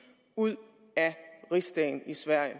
ud af rigsdagen i sverige